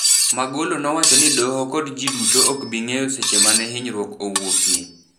Magolo nowacho ni doho kod jii duto okbingeyo seche mane hinyrwuok owuokie.